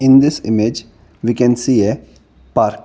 this image we can see a park.